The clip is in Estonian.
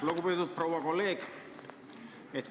Lugupeetud proua kolleeg!